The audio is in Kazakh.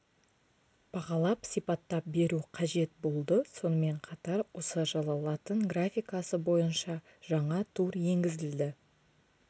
бағалап сипаттап беру қажет болды сонымен қатар осы жылы латын графикасы бойынша жаңа тур енгізілді